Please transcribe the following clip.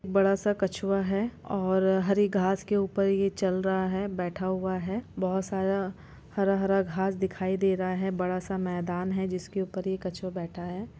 बड़ा सा कछुआ हैं और हरी घास के ऊपर ये चल रहा हैं बैठा हुआ हैं बहुत सारा हरा-हरा दिखाई दे रहा हैं बड़ा सा मैदान हैं। जिसका ऊपर ये कछुआ बैठा है|